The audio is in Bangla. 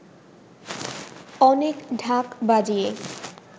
অনেক ঢাক বাজিয়ে